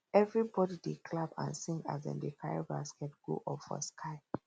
everybody dey clap and sing as dem carry baskets go up for sky